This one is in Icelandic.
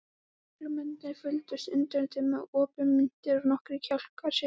Lögreglumennirnir fylgdust undrandi með, opinmynntir og nokkrir kjálkar sigu.